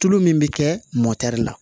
Tulu min bɛ kɛ mɔtɛri la